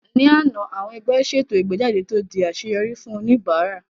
Ní àná, àwọn ẹgbẹ́ ṣètò ìgbéjáde tó di àṣeyọrí fún oníbàárà